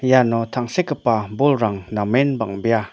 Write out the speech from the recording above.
iano tangsekgipa bolrang namen bang·bea.